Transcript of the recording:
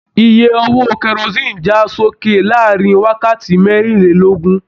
Ìyè owó kerosinni já sókè láàrin wákàtí merinlelogun.